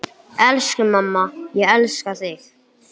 Elsku amma, ég elska þig.